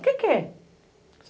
O que é?